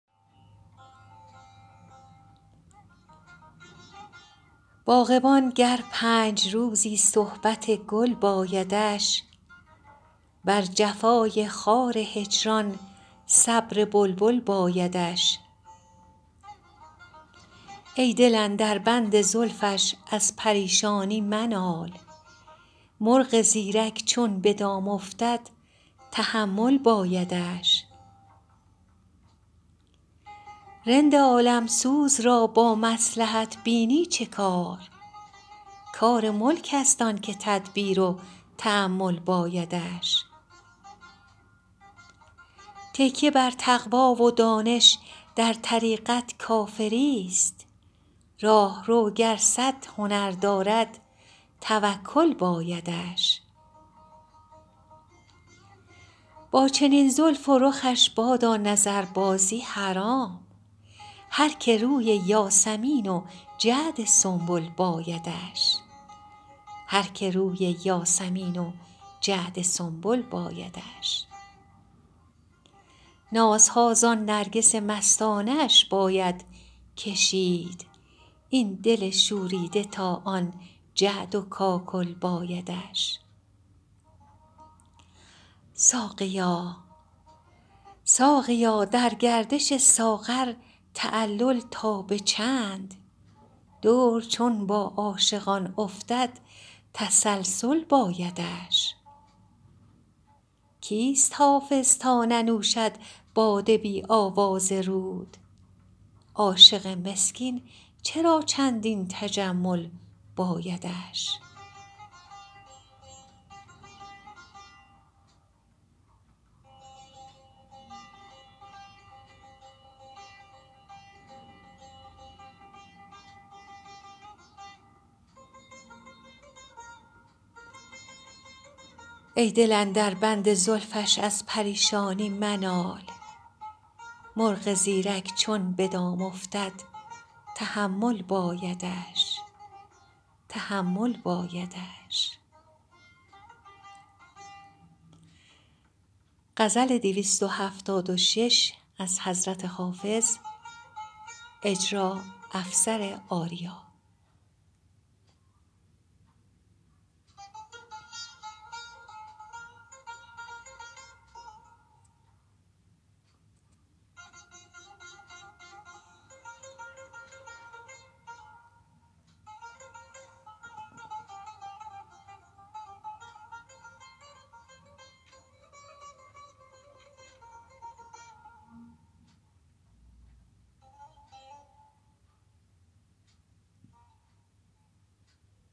باغبان گر پنج روزی صحبت گل بایدش بر جفای خار هجران صبر بلبل بایدش ای دل اندر بند زلفش از پریشانی منال مرغ زیرک چون به دام افتد تحمل بایدش رند عالم سوز را با مصلحت بینی چه کار کار ملک است آن که تدبیر و تأمل بایدش تکیه بر تقوی و دانش در طریقت کافری ست راهرو گر صد هنر دارد توکل بایدش با چنین زلف و رخش بادا نظربازی حرام هر که روی یاسمین و جعد سنبل بایدش نازها زان نرگس مستانه اش باید کشید این دل شوریده تا آن جعد و کاکل بایدش ساقیا در گردش ساغر تعلل تا به چند دور چون با عاشقان افتد تسلسل بایدش کیست حافظ تا ننوشد باده بی آواز رود عاشق مسکین چرا چندین تجمل بایدش